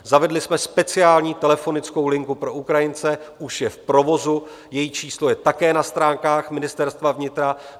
Zavedli jsme speciální telefonickou linku pro Ukrajince, už je v provozu, její číslo je také na stránkách Ministerstva vnitra.